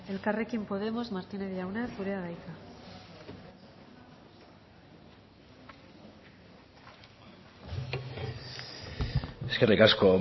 elkarrekin podemos martínez jauna zurea da hitza eskerrik asko